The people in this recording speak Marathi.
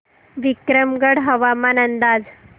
विक्रमगड हवामान अंदाज